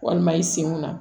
Walima i senw na